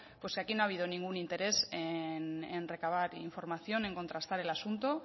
pues aquí no ha habido ningún interés en recabar información en contrastar el asunto